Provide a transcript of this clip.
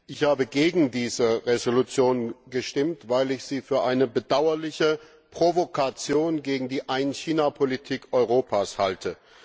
Ich habe gegen diese Entschließung gestimmt, weil ich sie für eine bedauerliche Provokation gegen die Ein China Politik Europas halte.